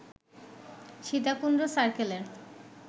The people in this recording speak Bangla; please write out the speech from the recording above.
সীতাকুণ্ড সার্কেলের